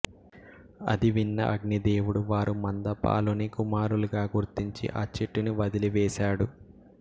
అది విన్న అగ్ని దేవుడు వారు మంద పాలుని కుమారులుగా గుర్తించి ఆ చెట్టుని వదలి వేసాడు